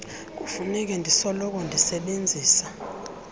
kufuneka ndisoloko ndisebenzisa